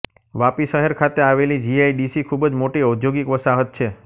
વાપી શહેર ખાતે આવેલી જી આઈ ડી સી ખુબ જ મોટી ઔદ્યૌગિક વસાહત છે